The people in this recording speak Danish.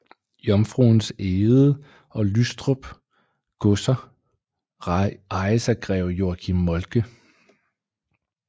Jomfruens Egede og Lystrup godser ejes af greve Joachim Moltke